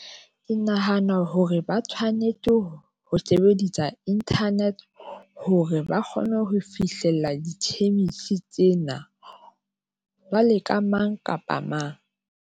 Ke nahana hore ba tshwanetse ho sebedisa internet hore ba kgone ho fihlella di-change tsena wa mang kapa mang.